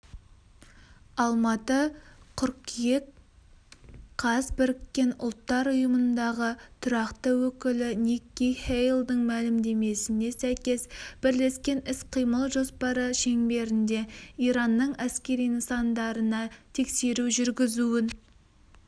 алматы қыркүйек қаз біріккен ұлттар ұйымындағы тұрақты өкілі никки хейлдің мәлімдемесіне сәйкес бірлескен іс-қимыл жоспары шеңберінде иранның әскери нысандарына тексеру жүргізуін